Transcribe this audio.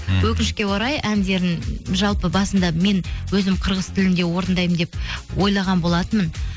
өкінішке орай әндерін жалпы басында мен өзім қырғыз тілінде орындаймын деп ойлаған болатынмын